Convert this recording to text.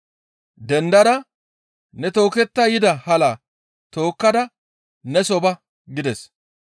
«Dendada ne tooketta yida halaa tookkada neso ba» gides.